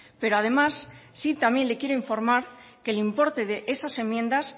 pero además sí también le quiero informar que el importe de esas enmiendas